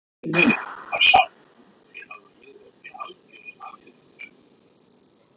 Helsti munurinn var sá að úti hafði ég verið í algjörri atvinnumennsku.